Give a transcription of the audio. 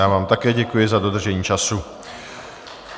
Já vám také děkuji za dodržení času.